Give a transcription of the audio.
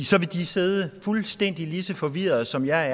så ville de sidde fuldstændig lige så forvirrede som jeg er